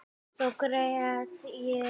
Þá grét ég.